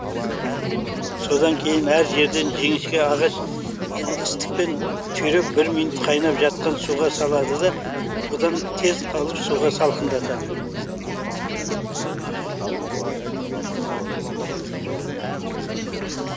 содан кейін әр жерінен жіңішке ағаш істікпен түйреп бір минут қайнат жатқан суға салады да одан тез алып суға салқындатады